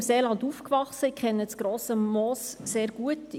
Ich bin im Seeland aufgewachsen und kenne das Grosse Moos sehr gut.